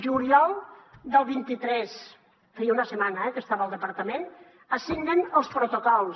juliol del vint tres feia una setmana que estava al departament es signen els protocols